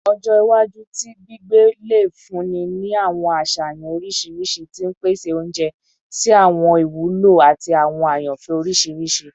Ọjọ iwaju ti gbigbe le funni ni awọn aṣayan oriṣiriṣi ti n pese ounjẹ si awọn iwulo ati awọn ayanfẹ oriṣiriṣi